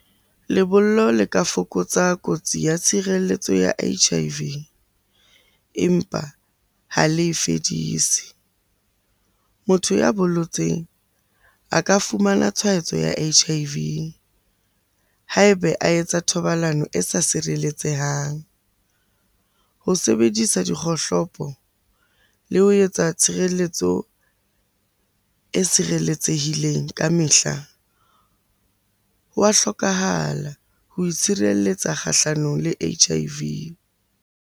Lebollo le ka fokotsa kotsi ya tshireletso ya H_I_V, empa ha le e fedise. Motho ya bolotseng a ka fumana tshwaetso ya H_I_V ha ebe a etsa thobalano e sa sireletsehang. Ho sebedisa dikgohlopo le ho etsa tshireletso e sireletsehileng ka mehla, ho wa hlokahala ho itshireletsa kgahlanong le H_I_V.